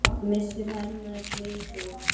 Missir hennar er mikill.